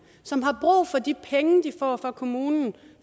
som har brug for de penge de får fra kommunen